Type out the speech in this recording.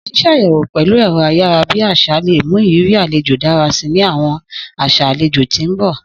Sísàyẹwo pẹ̀lu ẹ̀ro ayara bi àsá le mu ìrírí alejo dára si ni àwọn aṣa alejò ti n bọ.